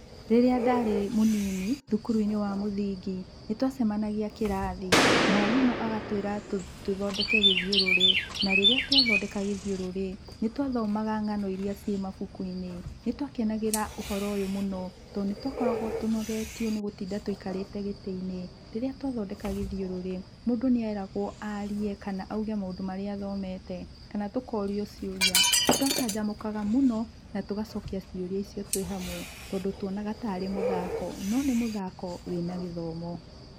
Rĩrĩa ndarĩ mũnini, thukuru-inĩ wa mũthingi, nĩtwacemanagia kĩrathi, mwarimũ agatwĩra tũthondeke gĩthiũrũrĩ. Na rĩrĩa twathondeka gĩthiũrũrĩ, nĩtwathomaga ng'ano iria ciĩ mabukuinĩ. Nĩtwakenagĩra ũhoro ũyũ mũno, tondũ nĩtwakoragwo tũnogetio nĩgũtinda tũikarĩte gĩtĩ-inĩ. Rĩrĩa twathondeka gĩthiũrũrĩ, mũndũ nĩeragwo arie kana auge maũndũ marĩa athomete kana tũkorio ciũria. Nĩtwacanjamũkaga mũno, na tũgacokia ciũria icio twĩhamwe, tondũ twonaga ta arĩ mũthako, no nĩ mũthako wĩna gĩthomo.